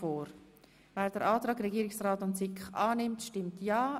Wer den Antrag Regierungsrat und SiK annimmt, stimmt ja,